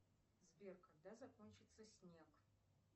сбер когда закончится снег